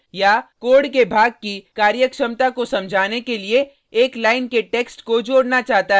code के भाग की कार्यक्षमता को समझाने के लिए एक लाइन के टेक्स्ट को जोडना चाहता है